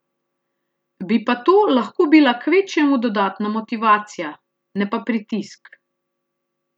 Bi pa to lahko bila kvečjemu dodatna motivacija, ne pa pritisk.